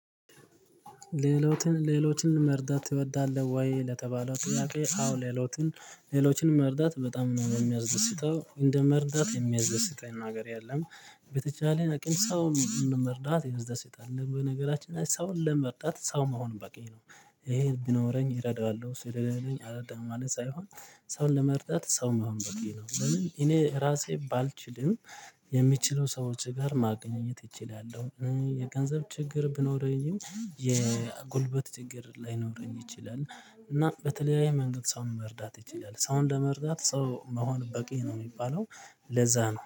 ሌሎችን መርዳት ትወዳለህ ወይ? ለተባለው ጥያቄ አዎ ሌሎችን ሌሎችን መርዳት በጣም ነው የሚያስደስተው እንደ መርዳት የሚያስደስተኝ ነገር የለም። በተቻለን አቅም ሰውን መርዳት ያስደስታል በነገራችን ላይ ሰውን ለመርዳት ሰው መሆን በቂ ነው። ይሄ ቢኖረኝ እረዳዋለሁ ስለሌለኝ አረዳም ማለት ሳይሆን። ሰውን ለመርዳት ሰው መሆን በቂ ነው። ለምን እኔ ራሴ ባልችልም የሚችለው ሰዎች ጋር ማግኘት እችላለሁ የገንዘብ ችግር ቢኖነረኝም የጉልበት ችግር ላይኖረኝ ይችላል። እና በተለያየ መንገድ ሰውን መርዳት ይችላል ሰው ለመርዳት ሰው መሆን በቂ ነው የሚባለው። ለዛ ነው